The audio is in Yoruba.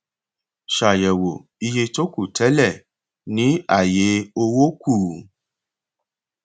ṣàyẹwò iye tó kù tẹlẹ ní àyé owó kù